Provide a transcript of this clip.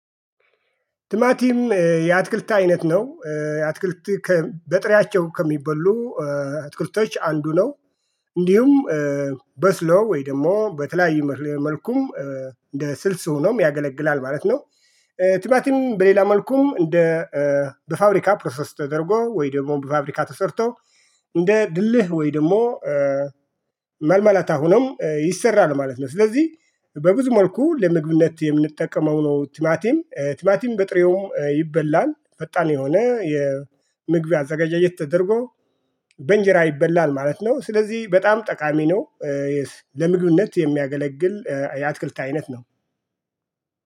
ትማቲም የአትክልት አይነት ነው የአትክልት በጥሪያቸው ከሚበሉ አትክልቶች አንዱ ነው። እንዲሁም በስሎ ወይ ደግሞ በተለያዩ መልኩም እንደ ስልስ ሆኖም ያገለግላል ማለት ነው። ቲማትም በሌላ መልኩም እንደ በፋብሪካ ፕሮሰስ ተደርጎ ወይ ደግሞ በፋብሪካ ተሰርቶ እንደ ድልህ ወይ ደግሞ መልመላታ ሆኖም ይሰራል ማለት ነው። ስለዚህ በብዙ መልኩ ለምግብነት የምንጠቀመው ነው። ቲማቲም ቲማቲም በጥሬውም ይበላል ፈጣን የሆነ የምግብ አዘጋጃጀት ተደርጎ በእንጀራ ይበላል ማለት ነው። ስለዚህ በጣም ጠቃሚ ነው። ለምግብነት የሚያገለግል የአትክልት አይነት ነው።